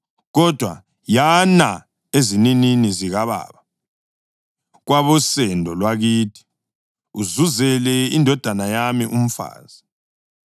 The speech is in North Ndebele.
kodwa yana ezininini zikababa, kwabosendo lwakithi, uzuzele indodana yami umfazi.’